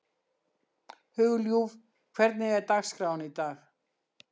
Hugljúf, hvernig er dagskráin í dag?